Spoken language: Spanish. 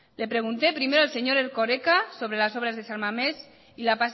le pregunté primero al señor erkoreka sobre las obras de san mamés y la